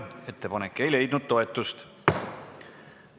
Ettepanek ei leidnud toetust.